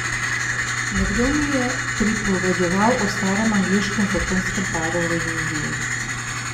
Nekdo mi je pripovedoval o starem angleškem zakonskem paru v Indiji.